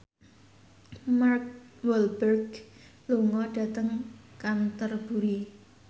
Mark Walberg lunga dhateng Canterbury